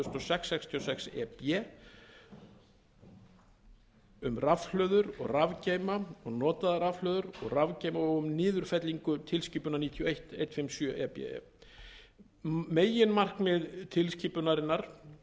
sex sextíu og sex e b um rafhlöður og rafgeyma og notaðar rafhlöður og rafgeyma og um niðurfellingu tilskipunar níutíu og eitt hundrað fimmtíu og sjö e b e meginmarkmið tilskipunar tvö